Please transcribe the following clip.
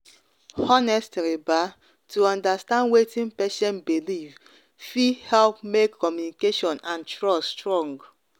honestly ba to understand wetin patient believe fit believe fit help make communication and trust strong.